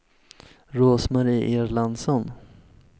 Rose-Marie Erlandsson